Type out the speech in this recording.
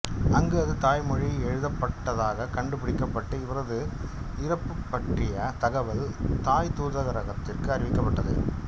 அங்கு அது தாய் மொழியில் எழுதப்பட்டதாகக் கண்டுபிடிக்கப்பட்டு இவரது இறப்புப் பற்றிய தகவல் தாய் தூதரகத்திற்கு அறிவிக்கப்பட்டது